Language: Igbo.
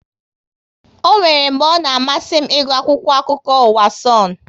Ọ nwéré mgbe ọ na amasị m ịgụ akwụkwọ akụkọ ụwa Sonu